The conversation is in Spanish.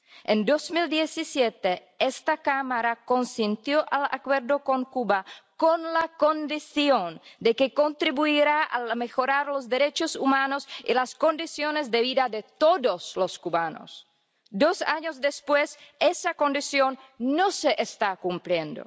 En 2017, esta Cámara aprobó el Acuerdo con Cuba con la condición de que contribuyese a mejorar los derechos humanos y las condiciones de vida de todos los cubanos. Dos años después, esa condición no se está cumpliendo.